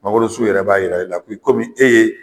Mangororsun yɛrɛ b'a yira e la k'i komi e ye